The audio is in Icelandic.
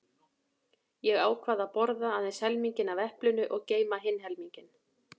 Ég ákvað að borða aðeins helminginn af eplinu og geyma hinn helminginn.